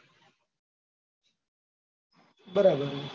બરાબર હે.